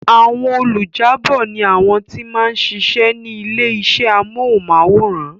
Àwọn olùjábọ̀ ni àwọn tí wọ́n ma ń sisẹ́ ní ilé iṣẹ́ amóhùnmáwòrán